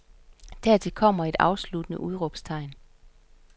Dertil kommer et afsluttende udråbstegn.